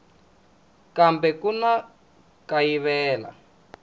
kambe ku na ku kayivela